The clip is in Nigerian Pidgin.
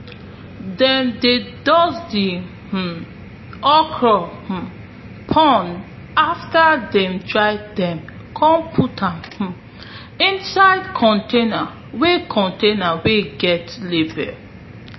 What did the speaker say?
dem dey dust di um okra um pods after dem dry den come put am um inside container wey container wey get label